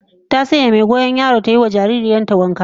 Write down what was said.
Ta sanya mai goyon yaran ta ta yi wa jaririyar ta wanka